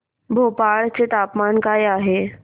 भोपाळ चे तापमान काय आहे